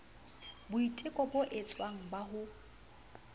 boiteko bo etswang ba ho